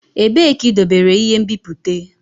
Ebee ka idobere ihe nbipute?